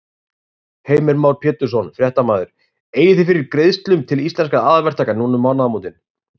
Heimir Már Pétursson, fréttamaður: Eigið þið fyrir greiðslum til Íslenskra aðalverktaka núna um mánaðamótin?